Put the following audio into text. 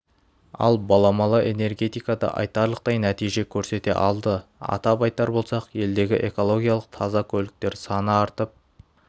ал баламалы энергетикада айтарлықтай нәтиже көрсете алды атап айтар болсақ елдегі экологиялық таза көліктер саны артып